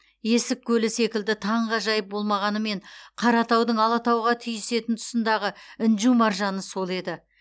есік көлі секілді таңғажайып болмағанымен қаратаудың алатауға түйісетін тұсындағы інжу маржаны сол еді